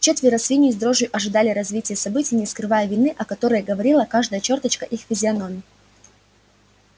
четверо свиней с дрожью ожидали развития событий не скрывая вины о которой говорила каждая чёрточка их физиономий